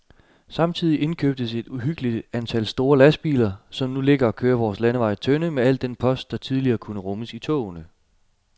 Samtidig indkøbtes et uhyggeligt antal store lastbiler, som nu ligger og kører vore landeveje tynde med al den post, der tidligere kunne rummes i togene.